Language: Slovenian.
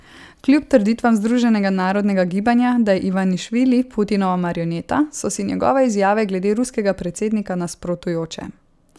Kljub trditvam Združenega narodnega gibanja, da je Ivanišvili Putinova marioneta, so si njegove izjave glede ruskega predsednika nasprotujoče.